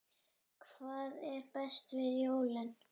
Hvað er best við jólin?